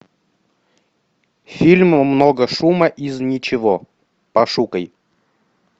фильм много шума из ничего пошукай